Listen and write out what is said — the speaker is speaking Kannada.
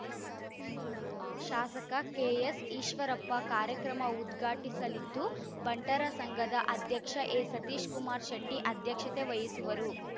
ಶಾಸಕ ಕೆಎಸ್‌ಈಶ್ವರಪ್ಪ ಕಾರ್ಯಕ್ರಮ ಉದ್ಘಾಟಿಸಲಿದ್ದು ಬಂಟರ ಸಂಘದ ಅಧ್ಯಕ್ಷ ಎ ಸತೀಶ್‌ ಕುಮಾರ್‌ ಶೆಟ್ಟಿಅಧ್ಯಕ್ಷತೆ ವಹಿಸುವರು